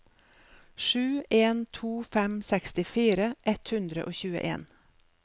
sju en to fem sekstifire ett hundre og tjueen